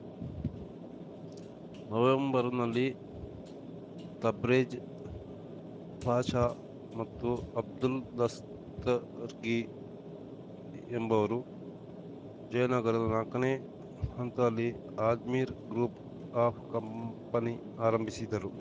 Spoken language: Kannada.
ನವೆಂಬರ್‌ನಲ್ಲಿ ತಬ್ರೇಜ್‌ ಪಾಷಾ ಮತ್ತು ಅಬ್ದುಲ್‌ ದಸ್ತರ್ಗಿ ಎಂಬುವರು ಜಯನಗರದ ನಾಲ್ಕನೇ ಹಂತಲ್ಲಿ ಅಜ್ಮೀರ್‌ ಗ್ರೂಪ್‌ ಆಫ್‌ ಕಂಪನಿ ಆರಂಭಿಸಿದ್ದರು